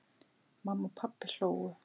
Mamma og pabbi hlógu.